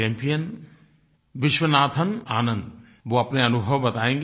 own Viswanathan Anand वो अपने अनुभव बतायेंगे